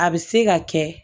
A bɛ se ka kɛ